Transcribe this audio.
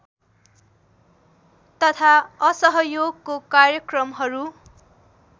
तथा असहयोगको कार्यक्रमहरू